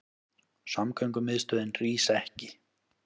Samgöngumiðstöðin rís ekki